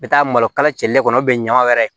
N bɛ taa malokala cɛlen kɔnɔ bɛ ɲama wɛrɛ